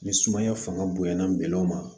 Ni sumaya fanga bonyana ma